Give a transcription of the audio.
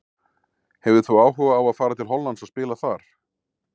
Hefðir þú áhuga á að fara til Hollands og spila þar?